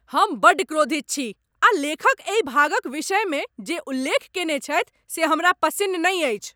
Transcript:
हम बड्ड क्रोधित छी आ लेखक एहि भागक विषयमे जे उल्लेख कयने छथि से हमरा पसिन्न नहि अछि।